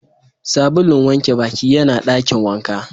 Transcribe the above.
Sabulun wanke Baki yana Dakin wanka.